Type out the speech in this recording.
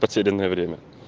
потерянное время